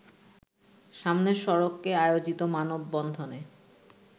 সামনের সড়কে আয়োজিত মানববন্ধনে